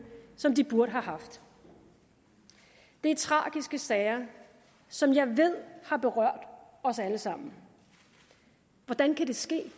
som de burde have haft det er tragiske sager som jeg ved har berørt os alle sammen hvordan kan det ske